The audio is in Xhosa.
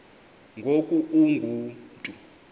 ngoku ungu mntu